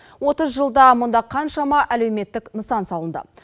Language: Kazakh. отыз жылда мұнда қаншама әлеуметтік нысан салынды